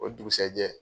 O dugusajɛ